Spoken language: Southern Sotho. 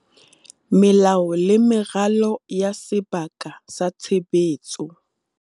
Melao le meralo ya sebaka sa tshebetso